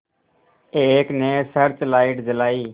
एक ने searchlight जलाई